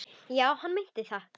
Já, hann meinti það.